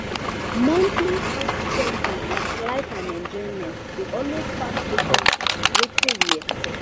monthly house spending like light and enjoyment dey always pass wetin we expect.